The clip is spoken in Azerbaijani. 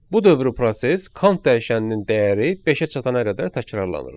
Bu dövrü proses count dəyişəninin dəyəri beşə çatana qədər təkrarlanır.